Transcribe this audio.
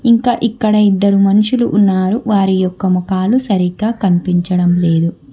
ఇంకా ఇక్కడ ఇద్దరు మనుషులు ఉన్నారు వారి యొక్క ముఖాలు సరిగ్గా కనిపించడం లేదు.